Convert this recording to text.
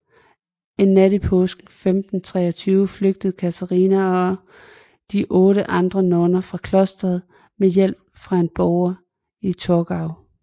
En nat i påsken 1523 flygtede Katharina og otte andre nonner fra klosteret med hjælp fra en borger i Torgau